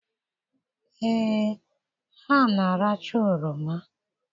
Ee, ha na-aracha oroma.